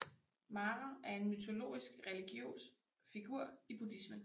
Mara er en mytologisk religiøs figur i buddhismen